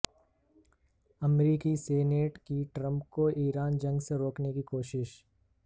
امریکی سینیٹ کی ٹرمپ کو ایران جنگ سے روکنے کی کوشش